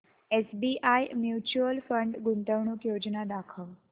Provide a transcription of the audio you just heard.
SBI mutual fund गुंतवणूक योजना दाखव